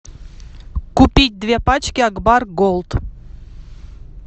купить две пачки акбар голд